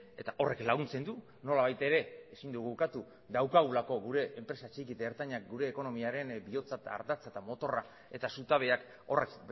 eta horrek laguntzen du nolabait ere ezin dugu ukatu daukagulako gure enpresa txiki eta ertainak gure ekonomiaren bihotza eta ardatza eta motorra eta zutabeak horrek